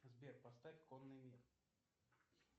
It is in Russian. сбер поставь конный мир